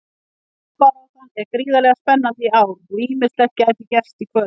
Toppbaráttan er gríðarlega spennandi í ár og ýmislegt gæti gerst í kvöld.